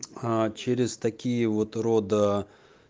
аа через такие вот рода